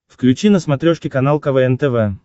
включи на смотрешке канал квн тв